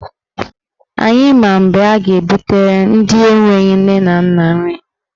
Anyị ma mgbe a ga-ebutere ndị enwe nne na nna nri.